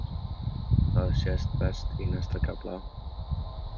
Það sést best í næsta kafla.